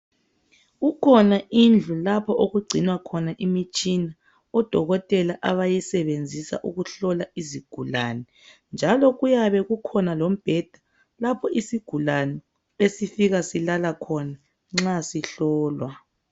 Kukhona indlu lapho okugcina khona imitshina. odokotela abayisebenzisa ukuhlola isigulani. Njalo kukhona lemibheda lapho isigulane besifika silala khona nxa sihlolwa.